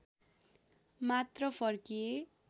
मात्र फर्किए